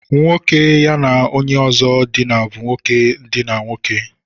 Nwoke ya na onye ozo dina bu nwoke idina nwoke.